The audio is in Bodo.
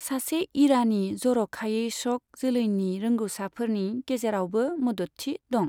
सासे ईरानी, जर'खायै शक, जोलैनि रोंगौसाफोरनि गेजेरावबो मददथि दं।